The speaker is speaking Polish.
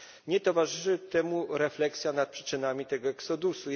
Nie towarzyszy temu refleksja nad przyczynami tego eksodusu.